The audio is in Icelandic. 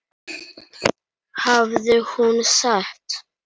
hafði hún sagt.